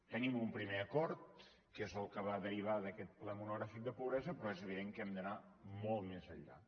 tenim un primer acord que és el que va derivar d’aquest ple monogràfic de pobresa però és evident que hem d’anar molt més enllà